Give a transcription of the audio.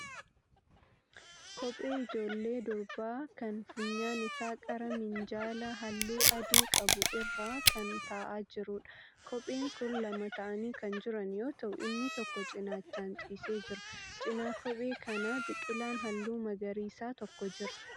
Kophee ijoollee durbaa kan funyaan isaa qara minjaala halluu adii qabu irra kan ta'aa jiruudha.. Kopheen kun lama ta'anii kan jiran yoo ta'u inni tokko cinaachaan ciisee jira. Cina kophee kanaa biqilaan halluu magariisaa tokko jira.